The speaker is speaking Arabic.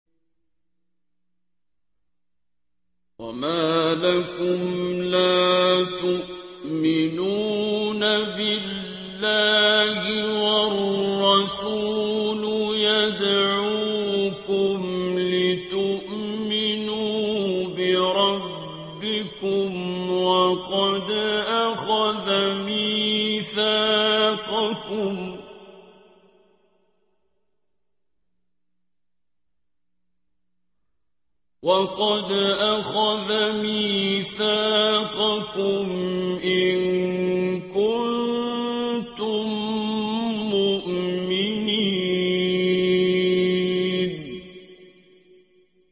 وَمَا لَكُمْ لَا تُؤْمِنُونَ بِاللَّهِ ۙ وَالرَّسُولُ يَدْعُوكُمْ لِتُؤْمِنُوا بِرَبِّكُمْ وَقَدْ أَخَذَ مِيثَاقَكُمْ إِن كُنتُم مُّؤْمِنِينَ